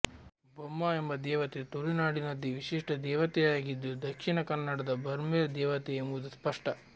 ಬೊಮ್ಮ ಎಂಬ ದೇವತೆ ತುಳು ನಾಡಿನದೇ ವಿಶಿಷ್ಟ ದೇವತೆಯಾಗಿದ್ದು ದಕ್ಷಿಣ ಕನ್ನಡದ ಬರ್ಮೇರ್ ದೇವತೆ ಎಂಬುದು ಸ್ಪಷ್ಟ